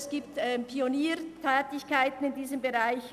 Es gibt Pioniertätigkeiten in diesem Bereich.